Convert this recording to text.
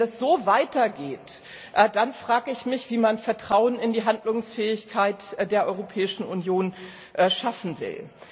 Wenn das so weitergeht, dann frage ich mich, wie man Vertrauen in die Handlungsfähigkeit der Europäischen Union schaffen will.